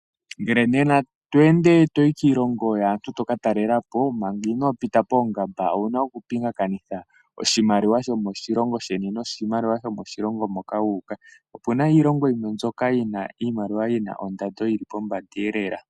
Uuna ngele toka talelapo kiilongo yilwe manga inoo pita poongamba owuna oku pingakanitha iimaliwa yomoshilongo shoye ngoye wu pewe iimaliwa yomoshilongo shoka toyi, oshoka iilongo yimwe oyili yina iimaliwa yina ongushu onene yi vule iikwawo.